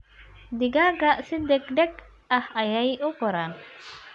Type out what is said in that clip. Digaagga si degdeg ah ayey u koraan.